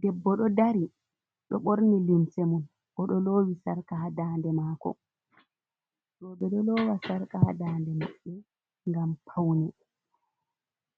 Debbo do dari, ɗoo ɓorni limsemun, o ɗoo lowi sarka hadande mako, be do lowa sarka hadande mabbe gam paune,